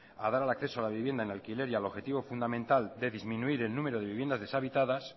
a dar al acceso a la vivienda en alquiler y al objetivo fundamental de disminuir el número de viviendas deshabitadas